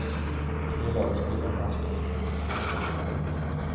Tre lag spelar i allsvenskan i vinter. punkt